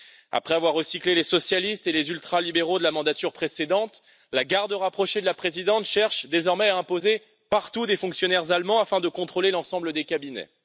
Après avoir recyclé les socialistes et les ultralibéraux de la mandature précédente, la garde rapprochée de la Présidente cherche désormais à imposer partout des fonctionnaires allemands afin de contrôler l'ensemble des cabinets.